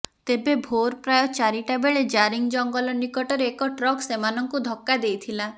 ତେବେ ଭୋର ପ୍ରାୟ ଚାରିଟା ବେଳେ ଜାରିଙ୍ଗ ଜଙ୍ଗଲ ନିକଟରେ ଏକ ଟ୍ରକ୍ ସେମାନଙ୍କୁ ଧକ୍କା ଦେଇଥିଲା